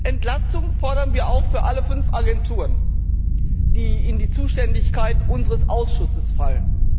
Entlastung fordern wir auch für alle fünf Agenturen, die in die Zuständigkeit unseres Ausschusses fallen.